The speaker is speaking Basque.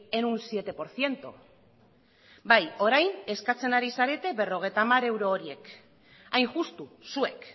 en un siete por ciento bai orain eskatzen ari zarete berrogeita hamar euro horiek hain justu zuek